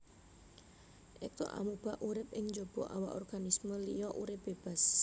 Ektoamuba urip ing jaba awak organisme liya urip bébas